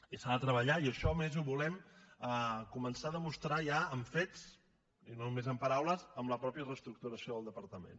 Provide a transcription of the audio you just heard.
i s’ha de treballar i això a més ho volem començar a demostrar ja amb fets i no només amb paraules amb la mateixa reestructuració del departament